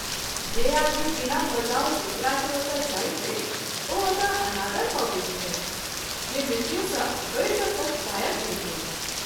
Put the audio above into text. जे आदमी बिना बजाओल दोसरा के ओतए जाइत छथि ओ ओतए अनादर पबैत छथि, जे मृत्यु सँ बढि क’ कष्टदायक होइत अछि।